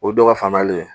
O ye dɔ ka faamuyali ye